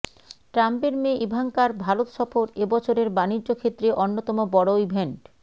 ট্রাম্পের মেয়ে ইভাঙ্কার ভারত সফর এবছরের বাণিজ্য ক্ষেত্রে অন্যতম বড় ইভেন্ট